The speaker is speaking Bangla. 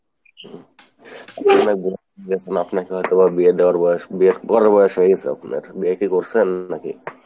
চলা লাগবে না, আপনাকে হয়তো বা বিয়ে দেয়ার বয়স বরের বয়স হয়ে গেছে আপনার, বিয়ে কি করছেন নাকি?